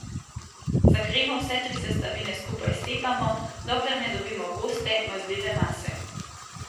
Za kremo vse tri sestavine skupaj stepamo, dokler ne dobimo goste, mazljive mase.